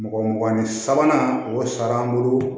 Mɔgɔ mugan ni sabanan o sara an bolo